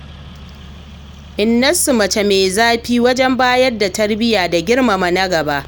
Innansu mace ce mai zafi wajen bayar da tarbiyya da girmama na gaba.